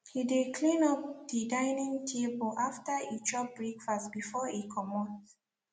he de cleanup de dining table after e chop breakfast before e comot